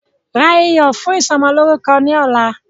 Ra iyọ̀ fún ìsọmọlórúkọ ni ọ̀la!